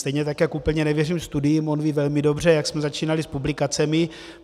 Stejně tak jako úplně nevěřím studiím, on ví velmi dobře, jak jsme začínali s publikacemi.